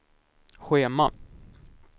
schema